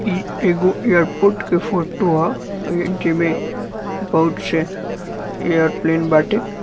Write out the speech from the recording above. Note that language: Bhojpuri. इ एगो एयरपोर्ट का फोटो है। जेमे बहुत से एयरप्लेन बाटे।